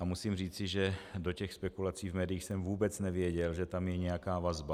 A musím říci, že do těch spekulací v médiích jsem vůbec nevěděl, že tam je nějaká vazba.